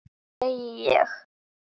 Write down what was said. Segi ég.